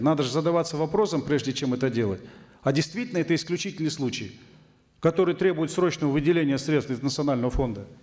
надо же задаваться вопросом прежде чем это делать а действительно это исключительный случай который требует срочного выделения средств из национального фонда